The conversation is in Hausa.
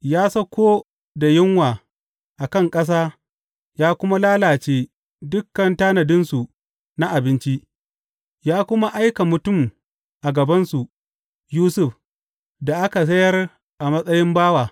Ya sauko da yunwa a kan ƙasa ya kuma lalace dukan tanadinsu na abinci; ya kuma aiki mutum a gabansu, Yusuf, da aka sayar a matsayin bawa.